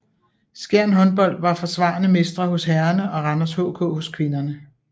Skjern Håndbold var forsvarende mestre hos herrerne og Randers HK hos kvinderne